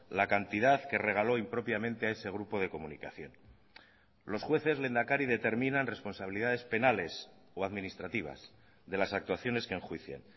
la cantidad que regaló impropiamente a ese grupo de comunicación los jueces lehendakari determinan responsabilidades penales o administrativas de las actuaciones que enjuician